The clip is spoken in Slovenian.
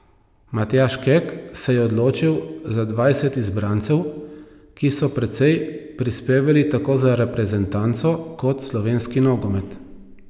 Matjaž Kek se je odločil za dvajset izbrancev, ki so precej prispevali tako za reprezentanco kot slovenski nogomet.